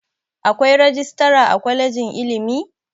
Akwai rajistara a kwalejin ilimi?